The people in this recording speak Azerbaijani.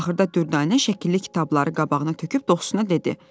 Axırda Dürdanə şəkilli kitabları qabağına töküb dostuna dedi: